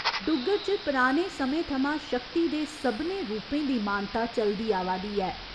डुग्गर च पराने समें थमां शक्ति दे सभनें रूपें दी मानता चलदी आवा दी ऐ।